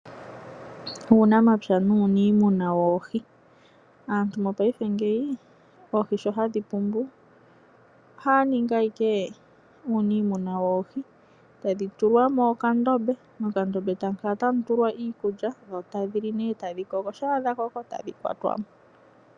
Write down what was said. Uunamapya nuuniimuna woohi. Aantu mopaife ngeyi oohi sho hadhi pumbu, ohaya ningi ihe uunimuna woohi. Tadhi tulwa mokandombe, mokandombe tamu kala ta mu tulwa iikulya, dho tadhi li nee e tadhi koko. Sha dha koko, tadhi kwatwa mo.